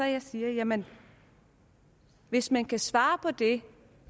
jeg siger jamen hvis man kan svare på det